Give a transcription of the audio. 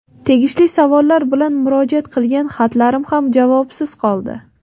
Tegishli savollar bilan murojaat qilgan xatlarim ham javobsiz qoldi.